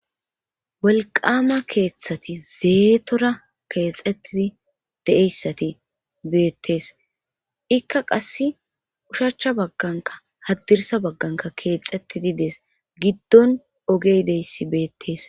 Wolqqaama keethati zeetora eexettidide7eyssati beetesikka qassinkka ushacha baggankka haddirssa baggankka keexettidi de7ees giddon ogey deyssi beettes